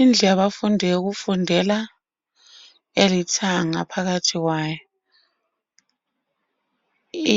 Indlu yabafundi eyokufundela elithanga phakathi kwayo.